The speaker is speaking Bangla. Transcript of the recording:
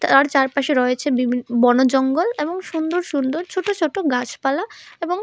আর চারপাশে রয়েছে বিভিন বনজঙ্গল এবং সুন্দর সুন্দর ছোট ছোট গাছপালা এবং--